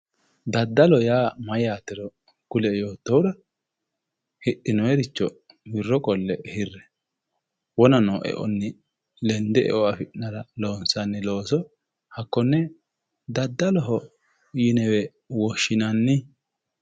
daddaloho yaa mayyaate kulie yoottohura hidhinooyiricho wirro qolle hirre wona noo e'onni lende eo afi'nannira loonsanni looso hakkonne daddalohowe yine woshhinanni.